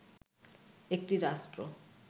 একটি রাষ্ট্র